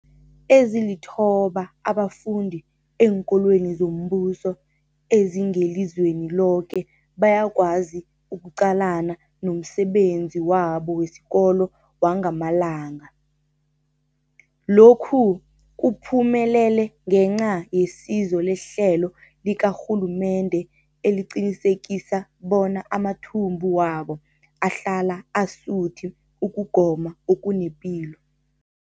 Ezilithoba abafunda eenkolweni zombuso ezingelizweni loke bayakwazi ukuqalana nomsebenzi wabo wesikolo wangamalanga. Lokhu kuphumelele ngenca yesizo lehlelo likarhulumende eliqinisekisa bona amathumbu wabo ahlala asuthi ukugoma okunepilo.